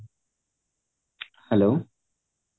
hello